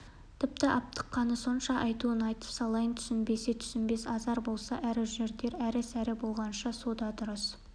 тіпті аптыққаны сонша айтуын айтып салайын түсінбесе түсінбес азар болса ары жүр дер әрі-сәрі болғанша со да дұрыс